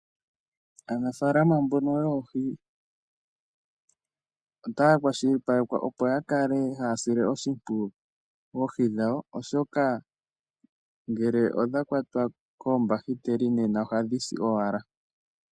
Aanafaalama mbono yoohi otaa kwashilipalekwa opo yakale haa sile oshimpwiyu oohi dhawo oshoka ngele odha kwatwa koombahiteli nena ohadhi si owala.